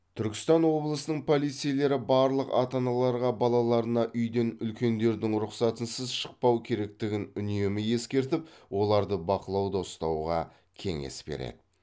түркістан облысының полицейлері барлық ата аналарға балаларына үйден үлкендердің рұқсатынсыз шықпау керектігін үнемі ескертіп оларды бақылауда ұстауға кеңес береді